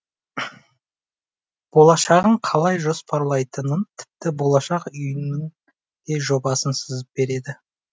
болашағын қалай жоспарлайтынын тіпті болашақ үйінің де жобасын сызып береді